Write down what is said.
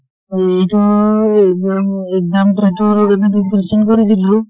এইটো exam exam question কৰিছিলোঁ।